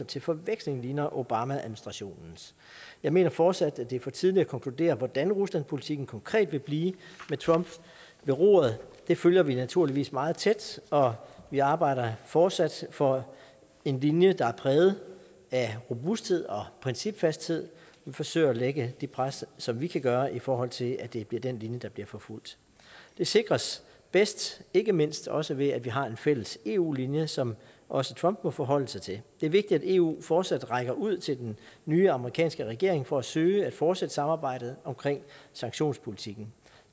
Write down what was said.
til forveksling ligner obamaadministrationens jeg mener fortsat at det er for tidligt at konkludere hvordan ruslandpolitikken konkret vil blive med trump ved roret det følger vi naturligvis meget tæt og vi arbejder fortsat for en linje der er præget af robusthed og principfasthed vi forsøger at lægge det pres som vi kan gøre i forhold til at det bliver den linje der bliver forfulgt det sikres bedst ikke mindst også ved at vi har en fælles eu linje som også trump må forholde sig til det er vigtigt at eu fortsat rækker ud til den nye amerikanske regering for at søge at fortsætte samarbejdet omkring sanktionspolitikken